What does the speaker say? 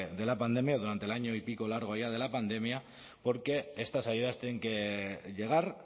de la pandemia durante el año y pico largo ya de la pandemia porque estas ayudas tienen que llegar